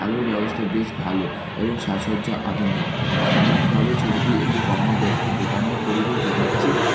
এর ব্যবস্থা বেশ ভালো এবং সাজসজ্জা আধুনিক সামগ্রিকভাবে ছবিটি একটি কর্মব্যস্ত দোকানের পরিবেশ দেখাচ্ছে।